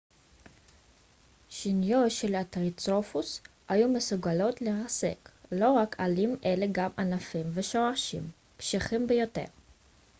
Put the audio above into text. שיניו של הטריצרטופס היו מסוגלות לרסק לא רק עלים אלא גם ענפים ושורשים קשיחים ביותר